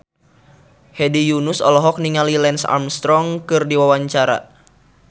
Hedi Yunus olohok ningali Lance Armstrong keur diwawancara